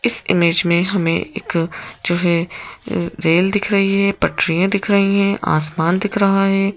इस इमेज में हमें एक जो है रेल दिख रही है पटरियां दिख रही हैं आसमान दिख रहा है।